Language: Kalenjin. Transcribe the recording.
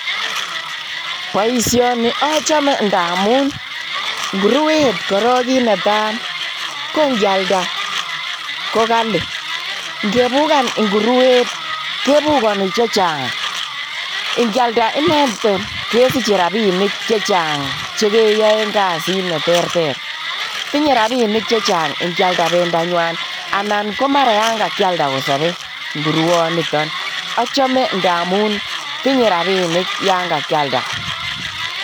boisioni achame amu ngurwet korok ki netai ngealda kokali. ngefukan ngurwet kefukani chechang ngealda kesiche rabinik chechang chekiae kasit ne terter. tinye rabinik chechangngealda bendanyi ana ngealda kosobe ngurwet. achame amu tunye rabinik ya kakialda